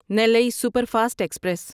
نیلی superfast express